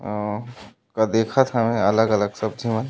औ का देखात हवय अलग-अलग सब्जी म--